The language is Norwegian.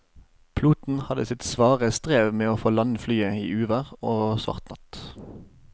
Piloten hadde sitt svare strev med å få landet flyet i uvær og svart natt.